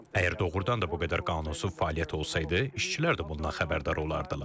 Əgər doğrudan da bu qədər qanunsuz fəaliyyət olsaydı, işçilər də bundan xəbərdar olardılar.